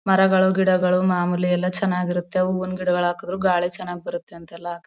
ಮರಗಳು ಗಿಡಗಳು ಮಾಮೂಲಿ ಎಲ್ಲ ಚೆನ್ನಾಗಿರತ್ತೆ ಹೂವಿನ್ ಗಿಡಗಳ್ ಹಾಕುದ್ರು ಗಾಳಿ ಚನಾಗ್ ಬರತ್ತೆ ಅಂತ ಎಲ್ಲ--